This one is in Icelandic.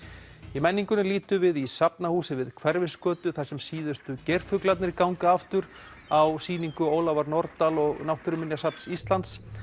í menningunni lítum við í Safnahúsið við Hverfisgötu þar sem síðustu geirfuglarnir ganga aftur á sýningu Ólafar Nordal og Náttúruminjasafns Íslands